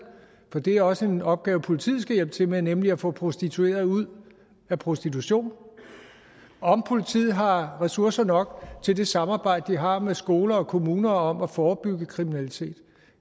for det er også en opgave som politiet skal hjælpe til med nemlig at få prostituerede ud af prostitution og om politiet har ressourcer nok til det samarbejde de har med skoler og kommunerne om at forebygge kriminalitet